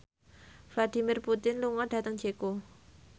Vladimir Putin lunga dhateng Ceko